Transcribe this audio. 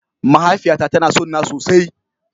Mahaifiyata tana son na sosai.